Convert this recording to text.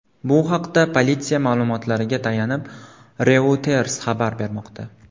Bu haqda politsiya ma’lumotlariga tayanib Reuters xabar bermoqda .